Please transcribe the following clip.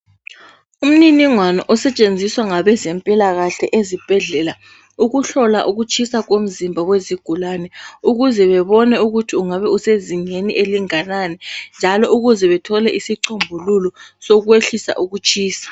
Umninigwano osetshenziswa ngabezempilakahle ezibhedlela ukuhlola ukuthisa komzimba wezigulani ukuze babone ukuthi ungabe usezingeni elingakanani njalo ukuze bathole isicombululo sokwehlisa ukutshisa.